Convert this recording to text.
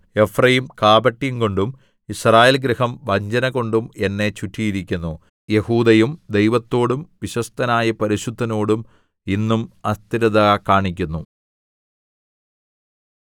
Ephraim കാപട്യം കൊണ്ടും യിസ്രായേൽഗൃഹം വഞ്ചനകൊണ്ടും എന്നെ ചുറ്റിയിരിക്കുന്നു യെഹൂദയും ദൈവത്തോടും വിശ്വസ്തനായ പരിശുദ്ധനോടും ഇന്നും അസ്ഥിരത കാണിക്കുന്നു